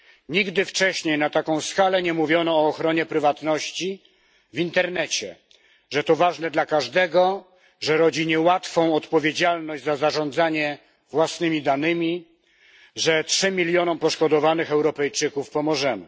Nigdy wcześniej na taką skalę nie mówiono o ochronie prywatności w internecie że to ważne dla każdego, że rodzi niełatwą odpowiedzialność za zarządzanie własnymi danymi, że trzem milionom poszkodowanych Europejczyków pomożemy.